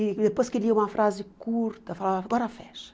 E depois que lia uma frase curta, falava, agora fecha.